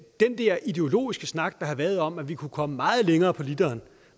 den der ideologiske snak der har været om at vi kunne komme meget længere på literen